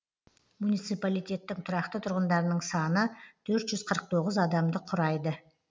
муниципалитеттің тұрақты тұрғындарының саны төрт жүз қырық тоғыз адамды құрайды